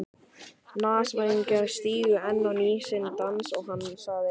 Nasavængirnir stigu enn á ný sinn dans og hann sagði